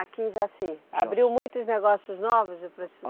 Aqui em Jaci. Jaci. Abriu muitos negócios novos de